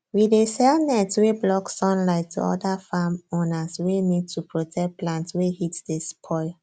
we dey sell net wey block sunlight to oda farm owners wey need to protect plants wey heat dey spoil